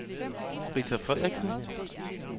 Rita Frederiksen